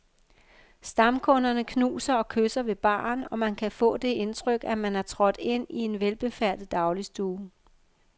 Stamkunderne knuser og kysser ved baren, og man kan få det indtryk, at man er trådt ind i en velbefærdet dagligstue.